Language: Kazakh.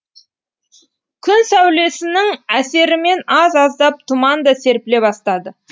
күн сәулесінің әсерімен аз аздап тұман да серпіле бастады